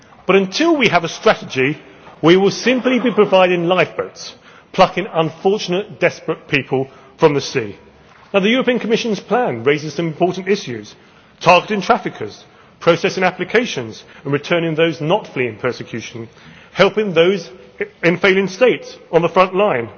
in. But until we have a strategy, we will simply be providing lifeboats, plucking unfortunate desperate people from the sea. The Commission's plan raises some important issues targeting traffickers, processing applications and returning those not fleeing persecution helping those in failing states on the front